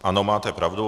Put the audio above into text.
Ano, máte pravdu.